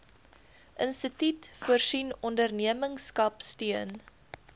instituut voorsien ondernemerskapsteun